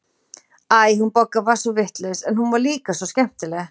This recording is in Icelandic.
Æ, hún Bogga var svo vitlaus, en hún var líka svo skemmtileg.